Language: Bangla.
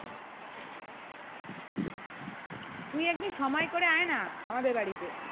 তুই এক দিন সময়ে করে আয় না আমাদের বাড়ি তে